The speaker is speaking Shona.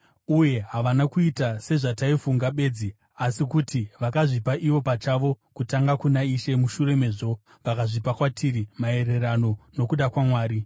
Uye havana kuita sezvataifunga bedzi, asi kuti vakazvipa ivo pachavo kutanga kuna Ishe mushure mezvo vakazvipa kwatiri maererano nokuda kwaMwari.